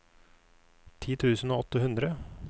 ti tusen og åtte hundre